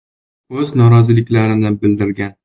O‘z noroziliklarini bildirgan.